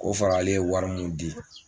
Ko fara ale ye wari mun di.